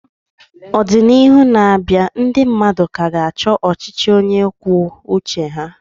Ọdịnihu na-abịa, ndị mmadụ ka ga-achọ ọchịchị onye kwuo uche ya.